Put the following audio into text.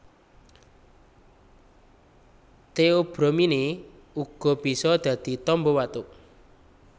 Theobromine uga bisa dadi tamba watuk